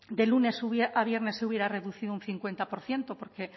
de lunes a viernes se hubiera reducido un cincuenta por ciento porque